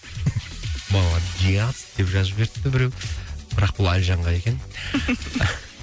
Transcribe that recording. молодец деп жазып жіберіпті біреу бірақ бұл әлжанға екен